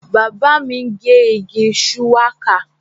Bàbá mi ń gé igi shuwaka